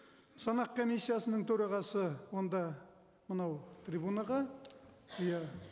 санақ комиссиясының төрағасы онда мынау трибунаға иә